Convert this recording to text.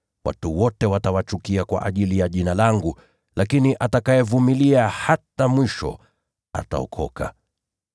Watu wote watawachukia kwa ajili ya Jina langu. Lakini yule atakayevumilia hadi mwisho ataokolewa.